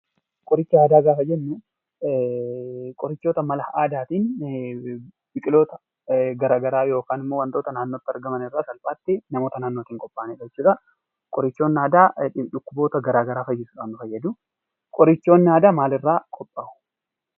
Qoricha aadaa gaafa jennuu qorichoota mala aadaatiin biqiloota garaa garaa yookan immoo wantoota naannotti argaman irraa salphaatti namoota naannootin qophaa'anidha jechuudhaa. Qorichoonni aadaa dhukkuboota garaa garaa fayyisuudhaan fayyaduu. Qorichoonni aadaa maalirraa qophaa'u?